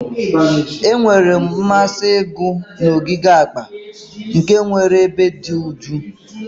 Enwere m mmasị ịgụ na ogige akpa, nke nwere ebe dị jụụ